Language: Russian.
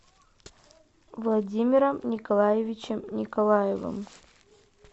владимиром николаевичем николаевым